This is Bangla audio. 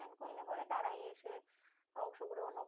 অনুষ্ঠান করলে তারাই এসে অংশগ্রহণও